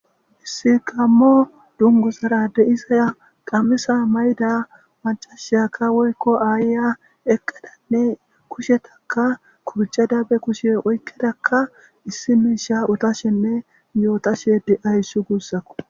issi qammo dungu sara deisa qamisa mayda macashiyaka woykko aayya eqqadanne kushetaka kurcha dabe kushe oykkedakka issi miisha otashenne yootashe de7ayssu guussako